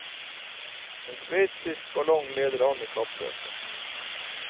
En sveitsisk ballong leder an i kappløpet.